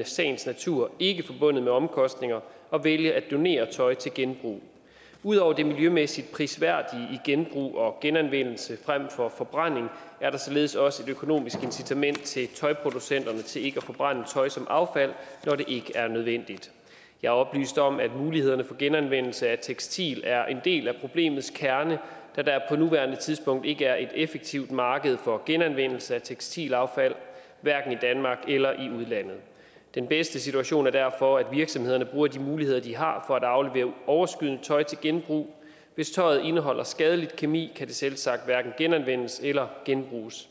i sagens natur ikke forbundet med omkostninger at vælge at donere tøj til genbrug ud over det miljømæssigt prisværdige i genbrug og genanvendelse frem for forbrænding er der således også et økonomisk incitament til tøjproducenterne til ikke at forbrænde tøj som affald når det ikke er nødvendigt jeg er oplyst om at mulighederne for genanvendelse af tekstil er en del af problemets kerne da der på nuværende tidspunkt ikke er et effektivt marked for genanvendelse af tekstilaffald hverken i danmark eller i udlandet den bedste situation er derfor at virksomhederne bruger de muligheder de har for at aflevere overskydende tøj til genbrug hvis tøjet indeholder skadelig kemi kan det selvsagt hverken genanvendes eller genbruges